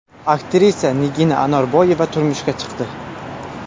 Aktrisa Nigina Anorboyeva turmushga chiqdi.